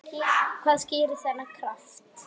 Hvað skýrir þennan kraft?